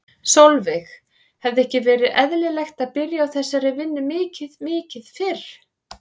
Sólveig: Hefði ekki verið eðlilegt að byrja á þessari vinnu mikið mikið fyrr?